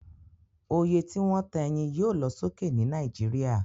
Oye tí wón ta eyin yio lo sókè ni Naijiria